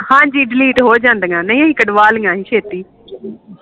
ਹਾਂਜੀ ਡਲੀਟ ਹੋ ਜਾਂਦੀ ਨਹੀਂ ਹੀ ਕੱਢ ਵਾਲਿਆਂ ਹੀ ਸ਼ੇਤੀ